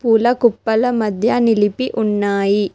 పూల కుప్పల మధ్య నిలిపి ఉన్నాయి.